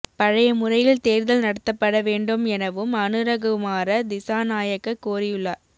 பழைய முறையில் தேர்தல் நடத்தப்பட வேண்டும் எனவும் அனுரகுமார திஸாநாயக்க கோரியுள்ளார்